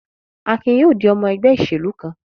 Akin yóò di ọmọ ẹgbẹ́ ìṣèlú kan.